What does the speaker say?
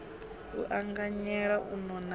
u anganyela u nona ha